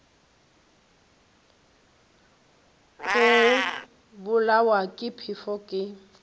go bolawa ke phefo ke